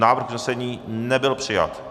Návrh usnesení nebyl přijat.